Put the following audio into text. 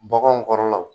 Baganw kɔrɔlaw